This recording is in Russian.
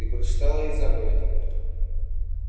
та прочитала ей заповедь